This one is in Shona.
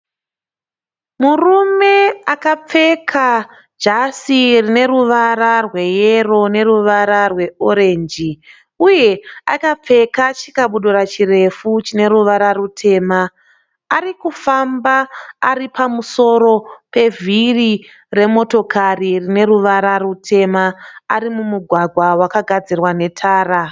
Murume akapfeka jasi rine ruvara rweyero neruvara rwe orenji. Uye akapfeka chikabudura chirefu chine ruvara rutema. Arikufamba Ari pamusoro pevhiri rine ruvara rutema ari mumugwaga wakagadzirwa netara.